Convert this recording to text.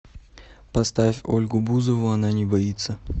поставь ольгу бузову она не боится